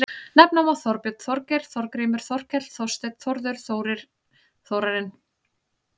Nefna má Þorbjörn, Þorgeir, Þorgrímur, Þorkell, Þorsteinn, Þórður, Þórir, Þórarinn.